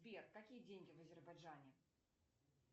сбер какие деньги в азербайджане